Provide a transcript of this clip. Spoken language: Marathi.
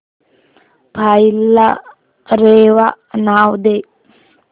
फाईल ला रेवा नाव दे